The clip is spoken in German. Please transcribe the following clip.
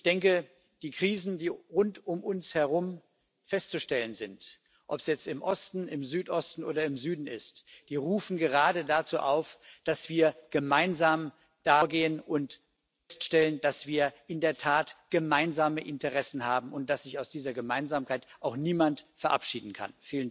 Ich denke, die Krisen, die rund um uns herum festzustellen sind, ob es jetzt im Osten, im Südosten oder im Süden ist, die rufen gerade dazu auf, dass wir da gemeinsam vorgehen und feststellen, dass wir in der Tat gemeinsame Interessen haben und dass sich aus dieser Gemeinsamkeit auch niemand verabschieden kann.